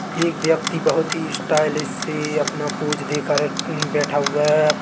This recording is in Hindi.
एक व्यक्ति बहोत ही स्टाइलिश से अपना पोज देकर अ हम्म बैठा हुआ है।